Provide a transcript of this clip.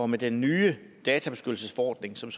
med den nye databeskyttelsesforordning som